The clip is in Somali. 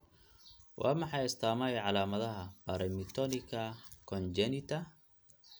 Waa maxay astamaha iyo calaamadaha Paramyotonika congenita?